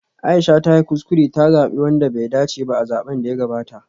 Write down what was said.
Aisha ta yi kuskure ta zabi wanda bai dace ba a zaben da ya gabata